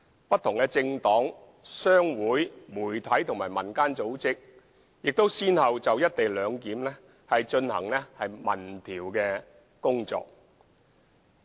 不同的政黨、商會、媒體和民間組織先後就"一地兩檢"進行民調工作。